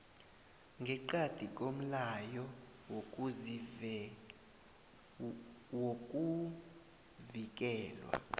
ngeqadi komlayo wokuvikelwa